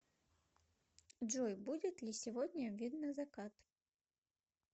джой будет ли сегодня видно закат